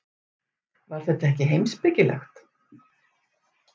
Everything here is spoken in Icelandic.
Var þetta ekki heimspekilegt?